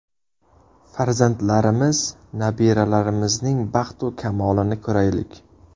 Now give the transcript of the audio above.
Farzandlarimiz, nabiralarimizning baxtu kamolini ko‘raylik!